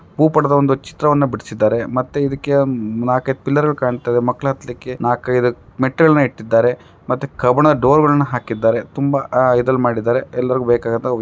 ಭೂಪಟದ ಒಂದು ಚಿತ್ರವನ್ನು ಬಿಡಿಸಿದ್ದಾರೆ ಮತ್ತೆ ಇದಕ್ಕೆ ನಾಲ್ಕೈದು ಪಿಲ್ಲರ್ ಗಳು ಕಾಣ್ತಾ ಇದೆ ಮಕ್ಕಳು ಹತ್ಲಿಕ್ಕೆ ನಾಲಕೈದು ಮೆಟ್ಟಿಲನ್ನ ಇಟ್ಟಿದ್ದಾರೆ ಮತ್ತೆ ಕಬ್ಬಿಣದ ಡೋರ್ಗಳನ್ನು ಹಾಕಿದ್ದಾರೆ ತುಂಬಾ ಆಹ್ಹ್ ಇದ್ರಲ್ಲಿ ಮಾಡಿದ್ದಾರೆ ಎಲ್ಲರಿಗೂ ಬೇಕಾಗಿರುವಂತಹ ವಿ --